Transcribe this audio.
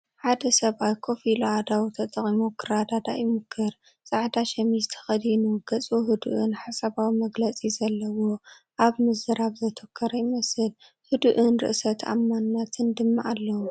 ሓደ ሰብኣይ ኮፍ ኢሉ፡ ኣእዳዉ ተጠቒሙ ክረዳዳእ ይሙኩር፣ ጻዕዳ ሰሚስ ተኸዲኑ ገጹ ህዱእን ሓሳባውን መግለጺ ዘለዎ፣ ኣብ ምዝራብ ዘተኮረ ይመስል። ህዱእን ርእሰ ተኣማንነትን ድማ ኣለዎ።